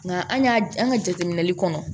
Nka an y'a an ka jateminɛli kɔnɔ